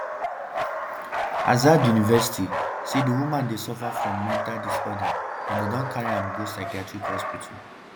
azad university say di woman dey suffer from “mental disorder” and dem don carry am go psychiatric hospital.